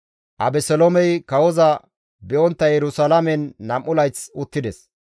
Abeseloomey kawoza be7ontta Yerusalaamen nam7u layth uttides.